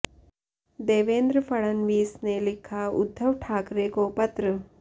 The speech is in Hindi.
देवेंद्र फड़नवीस ने लिखा उद्धव ठाकरे को पत्र